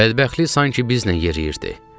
Bədbəxtlik sanki bizlə yeriyirdi.